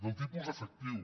del tipus efectiu